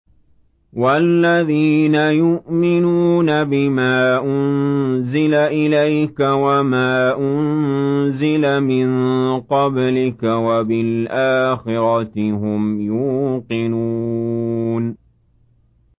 وَالَّذِينَ يُؤْمِنُونَ بِمَا أُنزِلَ إِلَيْكَ وَمَا أُنزِلَ مِن قَبْلِكَ وَبِالْآخِرَةِ هُمْ يُوقِنُونَ